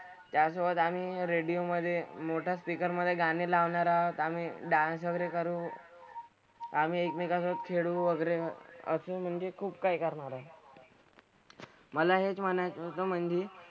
त्यासोबत आम्ही radio मधे मोठा speaker मधे गाणी लावणार आहोत. आम्ही dance वगैरे करू . आम्ही एकमेकांसोबत फिरू वगैरे असं म्हणजे खूप काय काय होणार. मला हेच म्हणायचं होतं म्हणजे,